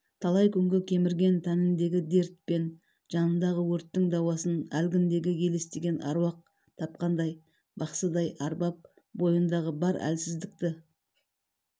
талай күнгі кемірген тәніндегі дерт пен жанындағы өрттің дауасын әлгіндегі елестеген аруақ тапқандай бақсыдай арбап бойындағы бар әлсіздікті